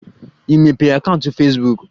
Ị mepee akaụntụ Fesbuk?